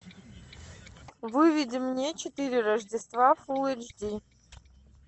выведи мне четыре рождества фулл эйч ди